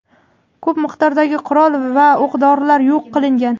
ko‘p miqdordagi qurol va o‘q-dorilar yo‘q qilingan.